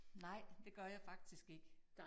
Nej, det gør jeg faktisk ikke